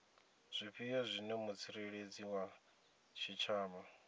zwifhio zwine mutsireledzi wa tshitshavha